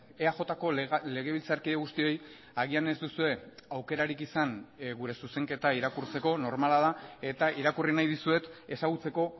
eajko legebiltzarkide guztioi agian ez duzue aukerarik izan gure zuzenketa irakurtzeko normala da eta irakurri nahi dizuet ezagutzeko